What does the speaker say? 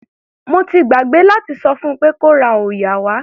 Mo ti gbàgbé láti sọ fún pé kó ra òòyà wá.